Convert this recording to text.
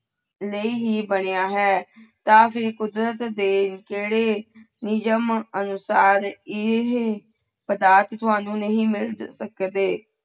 ਲਈ ਹੀ ਬਣਿਆ ਹੈ ਤਾਂ ਫਿਰ ਕੁਦਰਤ ਦੇ ਕਿਹੜੇ ਨਿਯਮ ਅਨੁਸਾਰ ਇਹ ਪਦਾਰਥ ਤੁਹਾਨੂੰ ਨਹੀਂ ਮਿਲ ਸਕਦੇ।